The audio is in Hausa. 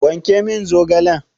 Wanke min zaogalen!